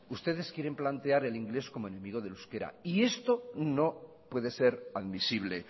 ustedes quieren plantear el inglés como el enemigo del euskera y esto no puede ser admisible